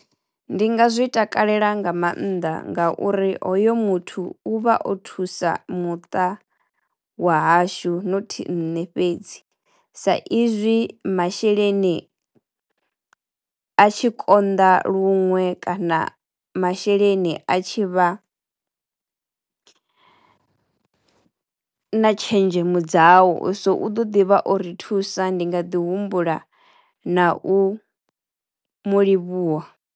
Ndi nga zwi takalela nga mannḓa ngauri hoyo muthu u vha o thusa muṱa wa hashu not nṋe fhedzi sa izwi masheleni a tshi konḓa luṅwe kana masheleni a tshi vha na tshenzhemo dzau so u ḓo ḓi vha o ri thusa ndi nga ḓi humbula na u mu livhuwa.